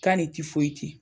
K'a ni tifoyiti